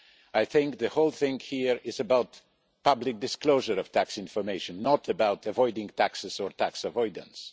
I think the whole thing here is about public disclosure of tax information, not about avoiding taxes or tax avoidance.